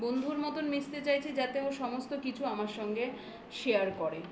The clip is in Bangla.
বন্ধুর মতন মিশতে চাইছি যাতে ও সমস্ত কিছু আমার সঙ্গে share করে